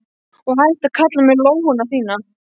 Og hættu að kalla mig lóuna þína.